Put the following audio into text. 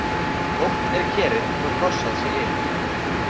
Tómt er kerið þó krossað sé yfir.